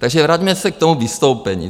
Takže vraťme se k tomu vystoupení.